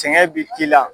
Sɛgɛn bi k'i la